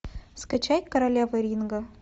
скачай королева ринга